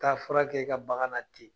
Taa fura kɛ i ka bagan na ten